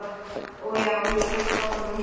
Og já, ég hélt áfram að hitta hana.